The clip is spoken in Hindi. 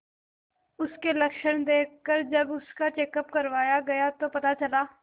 उसके लक्षण देखकरजब उसका चेकअप करवाया गया तो पता चला